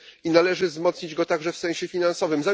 Należy wzmocnić go także w sensie finansowym.